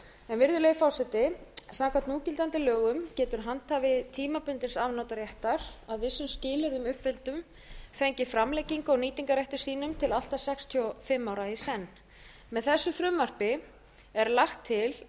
virðulegi forseti samkvæmt núgildandi lögum getur handhafi tímabundins afnotaréttar að vissum skilyrðum uppfylltum fengið framlengingu á nýtingarrétti sínum til allt að sextíu og fimm ára í senn með þessu frumvarpi er lagt til að